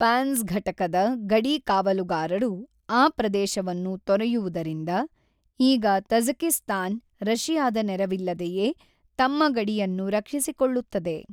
ಪ್ಯಾಂಝ್ ಘಟಕದ ಗಡಿ ಕಾವಲುಗಾರರು ಆ ಪ್ರದೇಶವನ್ನು ತೊರೆಯುವುದರಿಂದ‌,ಈಗ ತಜಕಿಸ್ತಾನ್ ರಶಿಯಾದ ನೆರವಿಲ್ಲದೆಯೇ ತಮ್ಮ ಗಡಿಯನ್ನು ರಕ್ಷಿಸಿಕೊಳ್ಳುತ್ತದೆ.